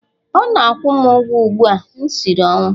Ọ na-akwụ m ụgwọ ugbu a, m siri ọnwụ!